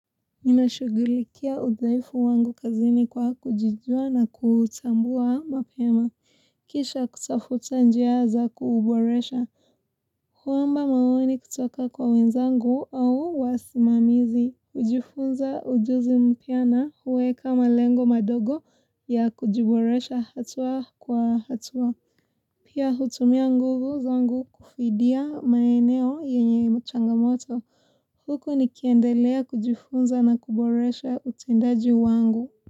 Ninashugulikia udhaifu wangu kazini kwa kujijua na kutambua mapema Kisha kutafuta njia za kuuboresha Huomba maoni kutoka kwa wenzangu au wasimamizi kujifunza ujuzi mpya na kuweka malengo madogo ya kujiboresha hatua kwa hatua Pia hutumia nguvu zangu kufidia maeneo yenye changamoto huko nikiendelea kujifunza na kuboresha utendaji wangu.